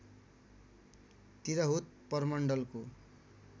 Tirhut प्रमण्डलको